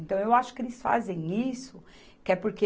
Então, eu acho que eles fazem isso que é porque...